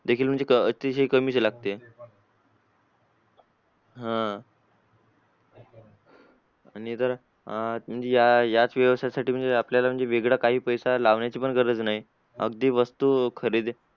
देखील म्हणजे अतिशय कमी लागते हा आणि तर याच विषयासाठी म्हणजे आपल्याला म्हणजे अं वेगळं काही पैसा लावायची गरज नाही अगदी वस्तू खरेदी